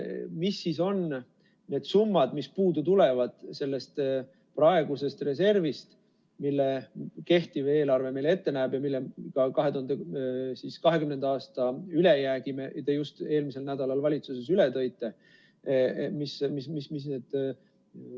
Mis on need summad, mis puudu jäävad sellest praegusest reservist, mille kehtiv eelarve meile ette näeb ja mille 2020. aasta ülejäägi te just eelmisel nädalal valitsuses üle tõite?